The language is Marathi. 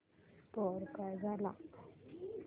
स्कोअर काय झाला